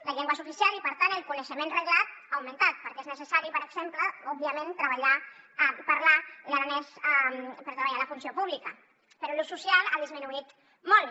la llengua és oficial i per tant el coneixement reglat ha augmentat perquè és necessari per exemple òbviament parlar l’aranès per treballar a la funció pública però l’ús social ha disminuït molt